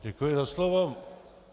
Děkuji za slovo.